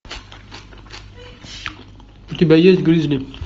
у тебя есть гризли